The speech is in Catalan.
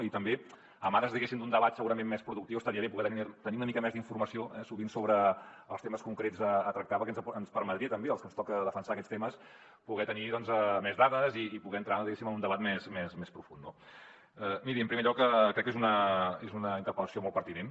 i també en ares diguéssim d’un debat segurament més productiu estaria bé poder tenir una mica més d’informació sovint sobre els temes concrets a tractar perquè ens permetria també als que ens toca defensar aquests temes poder ne tenir més dades i poder entrar diguéssim en un debat més profund no miri en primer lloc crec que és una interpel·lació molt pertinent